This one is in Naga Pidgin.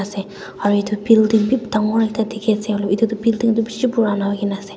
Ase aro etu building bhi dangor ekta dekhey ase hoilebi etu building tuh beshi purana hoikena ase.